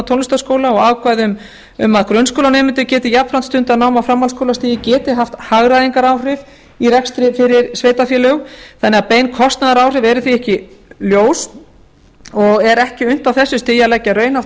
tónlistarskóla og ákvæði um að grunnskólanemendur geti jafnframt stundað nám á framhaldsskólastigi geti haft hagræðingaráhrif í rekstri fyrir sveitarfélög þannig að bein kostnaðaráhrif eru því ekki ljós og er ekki unnt á þessu stigi að leggja raunhæft